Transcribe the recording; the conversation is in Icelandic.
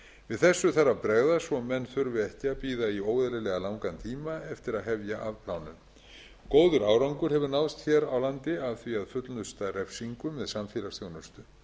við þessu þarf að bregðast svo menn þurfi ekki að bíða í óeðlilega langan tíma eftir að hefja afplánun góður árangur hefur náðst hér á landi af því að fullnusta refsingum með samfélagsþjónustu